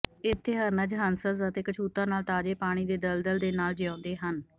ਇੱਥੇ ਹਰਨਜ਼ ਹੰਸਸ ਅਤੇ ਕਛੂਤਾਂ ਨਾਲ ਤਾਜ਼ੇ ਪਾਣੀ ਦੇ ਦਲਦਲ ਦੇ ਨਾਲ ਜੀਉਂਦੇ ਹਨ